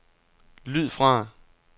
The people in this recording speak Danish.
lyd fra